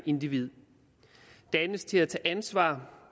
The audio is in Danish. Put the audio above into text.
individ dannes til at tage ansvar